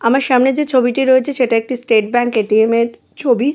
আমার সামনে যে ছবি টি রয়েছে সেটা একটি স্টেট ব্যাঙ্ক এ.টি.এম. -এর ছবি।